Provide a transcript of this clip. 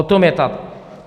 O tom je to.